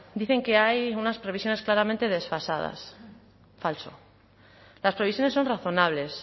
dicen que hay unas previsiones claramente desfasadas falso las previsiones son razonables